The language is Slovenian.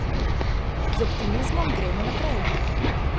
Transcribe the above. Z optimizmom gremo naprej.